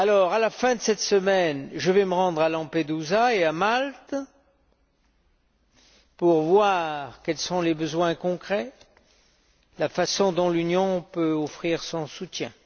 À la fin de cette semaine, je vais me rendre à Lampedusa et à Malte pour voir quels sont les besoins concrets et de quelle façon l'Union peut offrir son soutien.